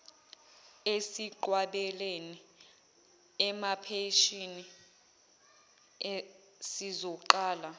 esinqwabelene emaphashini sizoqala